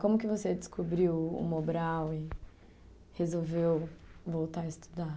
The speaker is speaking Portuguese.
Como que você descobriu o Mobral e resolveu voltar a estudar?